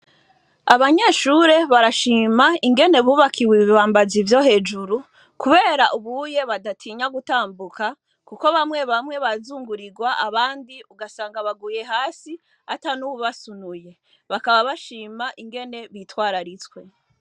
Abanyeshure barashima ukungene bubakiwe ibibambazi vyo hejuru kubera ubu unye ntibatinya gutambuka kuko bamwe bamwe bazungurirwa, abandi ugasanga baguye hasi atanuwabasunuye bagashima ingene babitwararitse